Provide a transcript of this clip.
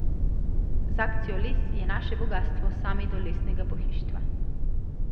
Z akcijo Les je naše bogastvo sami do lesenega pohištva.